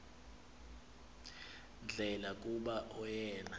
ndlela kuba oyena